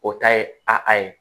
O ta ye a ye